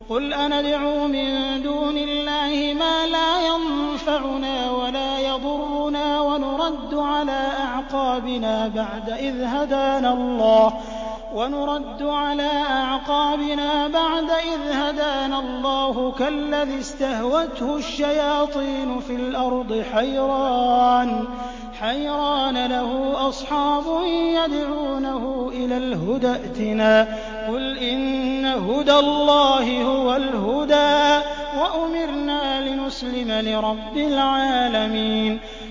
قُلْ أَنَدْعُو مِن دُونِ اللَّهِ مَا لَا يَنفَعُنَا وَلَا يَضُرُّنَا وَنُرَدُّ عَلَىٰ أَعْقَابِنَا بَعْدَ إِذْ هَدَانَا اللَّهُ كَالَّذِي اسْتَهْوَتْهُ الشَّيَاطِينُ فِي الْأَرْضِ حَيْرَانَ لَهُ أَصْحَابٌ يَدْعُونَهُ إِلَى الْهُدَى ائْتِنَا ۗ قُلْ إِنَّ هُدَى اللَّهِ هُوَ الْهُدَىٰ ۖ وَأُمِرْنَا لِنُسْلِمَ لِرَبِّ الْعَالَمِينَ